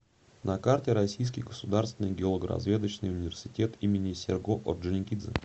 на карте российский государственный геологоразведочный университет имени серго орджоникидзе